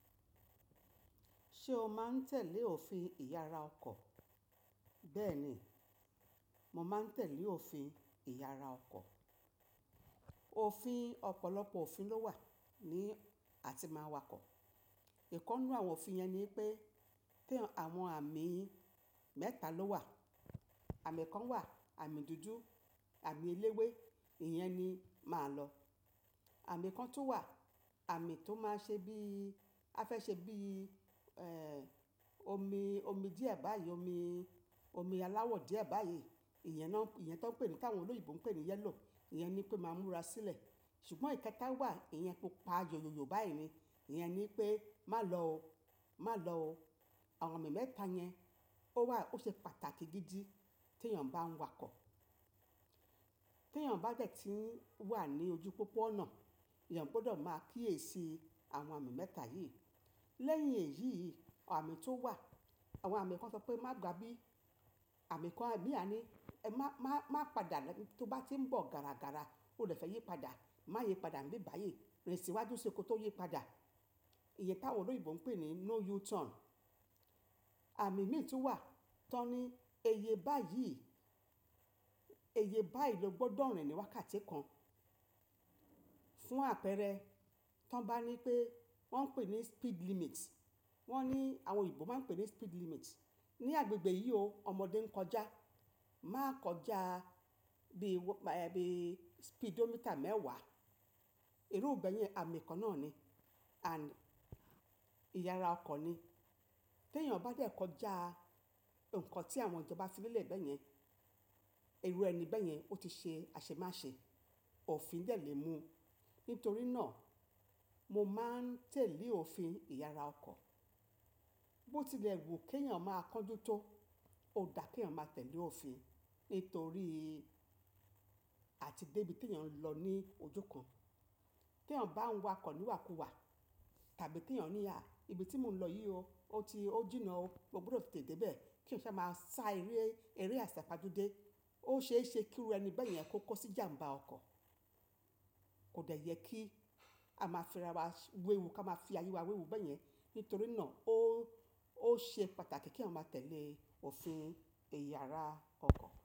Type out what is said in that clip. Ṣé o máa ń tẹ̀lé òfin ìyara ọkọ̀? Bẹ́ẹ̀ni, mo máa ń tẹ̀lé òfin ìyara ọkọ̀. Òfin, ọ̀pọ̀lọpọ̀ òfin ló wà ní a ti máa ń wakọ̀. Ìkan nínú àwọn òfin yẹn ni pé, pé àwọn àmì mẹ́ta ló wà. Àmì kan wà, àmì dúdú, àmì eléwé, ìyẹn ni máa lọ. Àmì kan tó wà, àmì tó máa ń ṣe bí, á fẹ́ ṣe bí, ẹ́ẹ́ omi, omi díẹ̀ báyìí, omi, omi aláwọ̀ díẹ̀ báyìí. Ìyẹn náà, ìyẹn tó ń pè pé, tí àwọn olóyìnbo ń pè ní yellow, ìyẹn ni pé máa múra sílẹ̀. Ṣùgbọ́n ìkẹta wà, ìyẹn pupa yòyò báyìí ni, ìyẹn ni pé má lọ ó, má lọ ó. Àwọn àmì mẹ́ta yẹn ó wà, ó ṣe pàtàkì gidi tí èèyàn bá ń wakọ̀. Tí èèyàn bá dẹ̀ tí ń wà ní ojú pópó ọ̀nà, èèyàn gbọdọ̀ máa kíyèsi àwọn àmì mẹ́ta yìí. Lẹ́yìn èyí, àmì tó wà, àwọn àmì kan sọ pé má gbá bí. Àmì kan bí àní ẹ má, má, má padà lẹ́ tó bá tí ń bọ̀ gàràgàrà, ó dẹ̀ fẹ́ yí padà. Má yé padà níbí gbayìí, rìn síwájú ṣé kó tó yí padà. Iye tí àwọn olóyìnbo ń pè ní no U-turn. Àmì mìí tó wà, tọ ní èyí báyìí, èyí báyìí ló gbọdọ̀ rìn níwákàtẹ́ẹ́kàn. Fún àpẹẹrẹ, tí wọ́n bá ní pé, wọ́n ń pè ní speed limit. Wọ́n ní, àwọn òyìnbó máa ń pè ní speed limit. Ní agbègbè yìí o, ọmọdé ń kọjá, má kọjá bí, bí speedometer mẹ́wàá. Irúbẹ̀ẹ́ yẹn àmì kan náà ni, àmì ìyara ọkọ̀ ni. Tí èèyàn bá dẹ̀ kọjá nǹkan tí àwọn ìjoba fi lé bẹ́yẹn, irú ẹni bẹ́yẹn ó ti ṣe aṣemáṣe. Òfin dẹ̀ lè mú. Nítorí náà mo máa ń tẹ̀lé òfin ìyara ọkọ̀. Bó tilẹ̀ wù kí èèyàn máa kánjú tó, ó dáa kí èèyàn máa tẹ̀lé òfin. Nítorí a ti dé ibi tí èèyàn ń lọ ní ojú kan. Tí èèyàn bá ń wakọ̀ níwàkuwà tàbí tí èèyàn ní à, ibi tí mo ń lọ yìí o, ó ti, ó jìnnà o, mo gbọdọ̀ tètè dé bẹ̀ ẹ́. Kí n sì máa sa eré, eré àsèpajú dé. Ó ṣe é ṣe kí irú ẹni bẹ́yẹn kó kó sí ìjàm̀bá ọkọ̀. Kò dẹ̀ yẹ kí a máa fi ara wa wéwu, kí a máa fi ayé wa wéwu bẹ́yẹn. Nítorí náà ó, ó ṣe pàtàkì kí èyàn máa tẹ̀lé òfin ìyara ọkọ̀.